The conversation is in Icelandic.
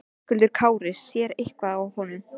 Höskuldur Kári: Sér eitthvað á honum?